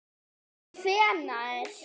Og hvenær?